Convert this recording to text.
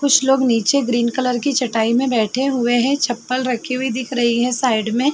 कुछ लोग नीचे ग्रीन कलर की चटाई में बैठे हुए हैं। चप्पल रखी हुई दिख रही है साइड में।